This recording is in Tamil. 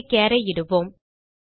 இங்கே சார் ஐ இடுவோம்